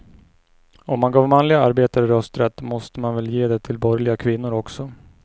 Om man gav manliga arbetare rösträtt måste man väl ge det till borgerliga kvinnor också.